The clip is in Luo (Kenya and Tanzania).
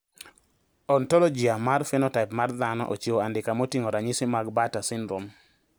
Ontologia mar phenotype mag dhano ochiwo andika moting`o ranyisi mag Bartter syndrome.